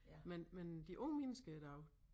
Men men de unge mennesker i dag